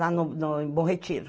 Lá no no em Bom Retiro.